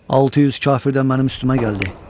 600 kafir də mənim üstümə gəldi.